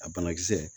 A banakisɛ